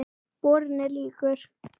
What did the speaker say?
Borinn er líkur